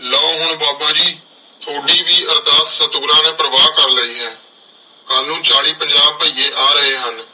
ਲਓ। ਹੁਣ ਬਾਬਾ ਜੀ ਥੋਡੀ ਵੀ ਅਰਦਾਸ ਸਤਿਗੁਰਾਂ ਨੇ ਪ੍ਰਵਾਨ ਕਰ ਲਈ ਹੈ ਕੱਲ ਨੂੰ ਚਾਲੀ ਪੰਜਾਹ ਭਈਏ ਆ ਰਹੇ ਹਨ।